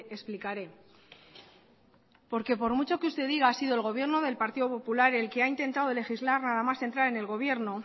explicaré porque por mucho que usted diga ha sido el gobierno del partido popular el que ha intentado legislar nada más entrar en el gobierno